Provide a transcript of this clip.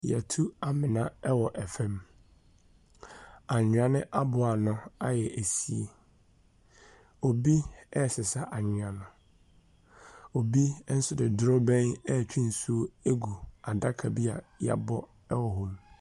Yɛtu amena wɔ fom annwea no aboa ano ayɛ ɛsie ɔbi sisa annwea no ɔbi nso di duroben ɛtwe nsuo ɛgu adaka bia ya bɔ ɛwɔ hɔ.